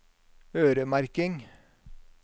øremerking